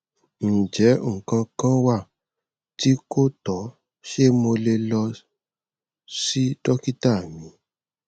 njẹ nǹkan kan wa ti ko tọ ṣe mo le lọ si dokita mi